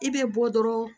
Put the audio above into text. I bɛ bɔ dɔrɔn